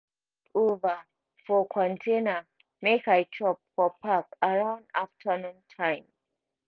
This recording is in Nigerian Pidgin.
over for container make i chop for park around afternoon time.